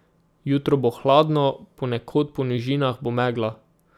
Jutro bo hladno, ponekod po nižinah bo megla.